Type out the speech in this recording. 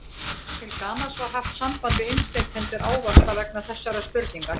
Til gamans var haft samband við innflytjendur ávaxta vegna þessarar spurningar.